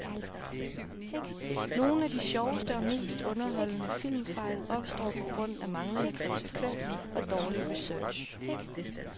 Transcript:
Nogle af de sjoveste og mest underholdende filmfejl opstår på grund af manglende konsekvens og dårlig research.